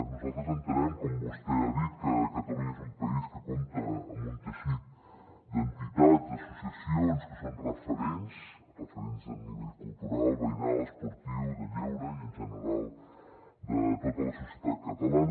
nosaltres entenem com vostè ha dit que catalunya és un país que compta amb un teixit d’entitats d’associacions que són referents referents a nivell cultural veïnal esportiu de lleure i en general de tota la societat catalana